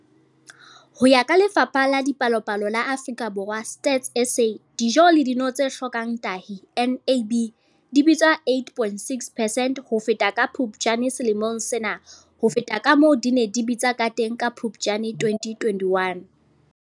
Ho ya ka Lefapha la Dipalopalo la Afrika Borwa, Stats SA, dijo le dino tse hlokang tahi, NAB, di bitsa 8.6 percent ho feta ka Phuptjane selemong sena ho feta kamoo di neng di bitsa kateng ka Phuptjane 2021.